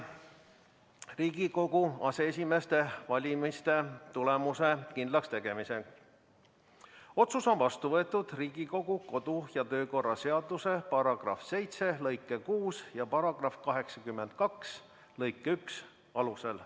Riigikogu aseesimeeste valimise tulemuste kindlakstegemise otsus on vastu võetud Riigikogu kodu- ja töökorra seaduse § 7 lõike 6 ja § 82 lõike 1 alusel.